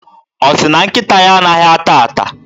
Ọ sị na nkịta ya anaghị ata ata.